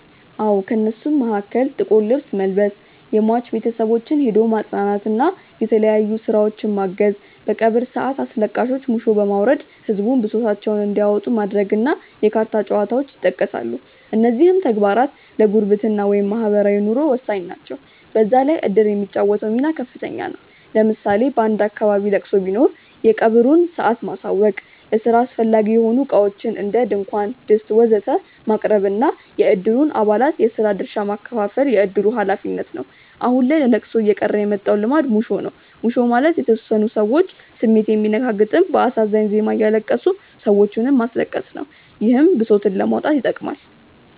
አዎ። ከእነሱም መሀከል ጥቁር ልብስ መልበስ፣ የሟች ቤተሰቦችን ሄዶ ማፅናናት እና የተለያዩ ስራዎችን ማገዝ፣ በቀብር ሰአት አስለቃሾች ሙሾ በማውረድ ህዝቡን ብሶታቸውን እንዲያወጡ ማድረግ እና የካርታ ጨዋታዎች ይጠቀሳሉ። እነዚህም ተግባራት ለጉርብትና (ማህበራዊ ኑሮ) ወሳኝ ናቸው። በዛ ላይ እድር የሚጫወተው ሚና ከፍተኛ ነው። ለምሳሌ በአንድ አካባቢ ለቅሶ ቢኖር የቀብሩን ሰአት ማሳወቅ፣ ለስራ አስፈላጊ የሆኑ እቃዎችን (ድንኳን፣ ድስት ወዘተ...) ማቅረብ እና የእድሩን አባላት የስራ ድርሻ ማከፋፈል የእድሩ ሀላፊነት ነው። አሁን ላይ ለለቅሶ እየቀረ የመጣው ልማድ ሙሾ ነው። ሙሾ ማለት የተወሰኑ ሰዎች ስሜት የሚነካ ግጥም በአሳዛኝ ዜማ እያለቀሱ ሰዎችንም ማስለቀስ ነው። ይህም ብሶትን ለማውጣት ይጠቅማል።